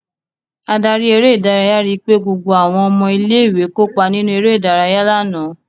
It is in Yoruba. Adarí eré-idárayá ri pé gbogbo àwọn ọmọ ilé-ìwé kópa nínú eré-idárayá lánàá.